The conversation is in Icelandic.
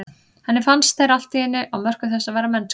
Henni fannst þeir allt í einu á mörkum þess að vera mennskir.